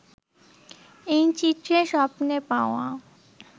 এই চিত্রে স্বপ্নে-পাওয়া